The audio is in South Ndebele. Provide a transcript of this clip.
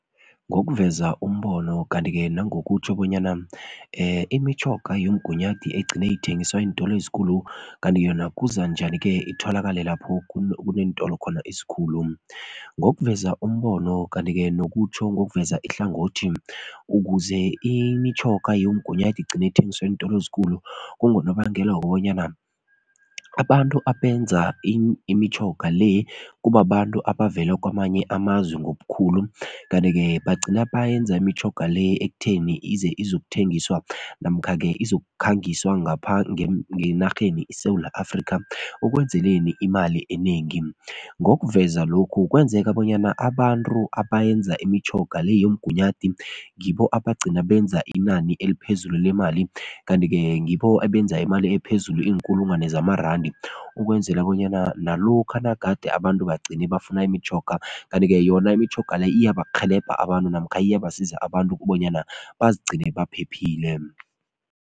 Ngokuveza umbono kanti-ke nangokutjho bonyana imitjhoga yomgunyathi egcina ithengiswa eentolo ezikulu kanti yona kuza njani-ke itholakale lapho kuneentolo khona ezikhulu? Ngokuveza umbono kanti-ke nokutjho ngokuveza ihlangothi ukuze imitjhoga yomgunyathi igcine ithengiswa eentolo ezikulu kungonobangela wokobanyana abantu abenza imitjhoga le kubabantu abavela kwamanye amazwe ngobukhulu kanti-ke bagcina bayenza imitjhoga le ekutheni ize izokuthengiswa namkha-ke izokukhangiswa ngapha ngenarheni iSewula Afrikha ukwenzeleni imali enengi. Ngokuveza lokhu kwenzeka bonyana abantu abayenza imitjhoga le yomgunyathi ngibo abagcina benza inani eliphezulu lemali kanti-ke ngibo ebenza imali ephezulu iinkulungwane zamarandi ukwenzela bonyana nalokha nagade abantu bagcine bafuna imitjhoga kanti-ke yona imitjhoga le iyabakghelebha abantu namkha iyabasiza abantu kubonyana bazigcine baphephile.